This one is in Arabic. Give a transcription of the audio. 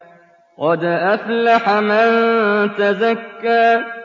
قَدْ أَفْلَحَ مَن تَزَكَّىٰ